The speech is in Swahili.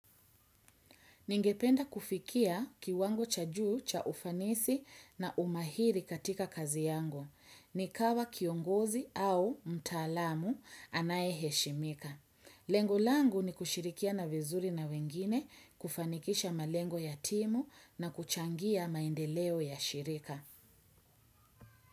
Ningependa kufikia kiwango cha juu cha ufanisi na umahiri katika kazi yangu. Nikawa kiongozi au mtaalamu anaye heshimika. Lengo langu ni kushirikiana vizuri na wengine, kufanikisha malengo ya timu na kuchangia maendeleo ya shirika.